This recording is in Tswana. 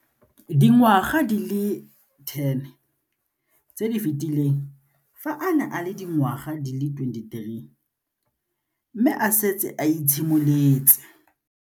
Dingwaga di le 10 tse di fetileng, fa a ne a le dingwaga di le 23 mme a setse a itshimoletse.